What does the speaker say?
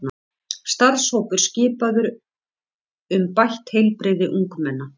Starfshópur skipaður um bætt heilbrigði ungmenna